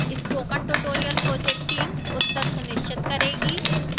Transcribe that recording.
spoken tutorial project team उत्तर सुनिश्चित करेगी